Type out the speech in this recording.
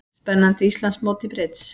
Spennandi Íslandsmót í brids